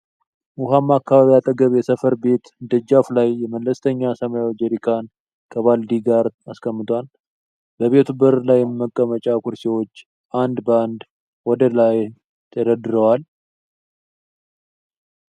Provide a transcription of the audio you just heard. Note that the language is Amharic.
ዉሃማ አካባቢ አጠገብ የሰፈረ ቤት ደጃፉ ላይ መለስተኛ ሰማያዊ ጄሪካን ከባልዲ ጋር አስቀምጧል። በቤቱ በር ላይም መቀመጫ ኩርሲዎች አንድ ባንድ ወደ ላይ ተደርድረዋል።